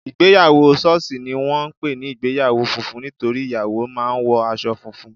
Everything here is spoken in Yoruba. Ìgbéyàwó sọ́ọ̀sì ni wọ́n ń pè ní ìgbéyàwó funfun nítorí ìyàwó máa wo aṣọ funfun